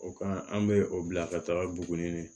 O kan an bɛ o bila ka taa buguni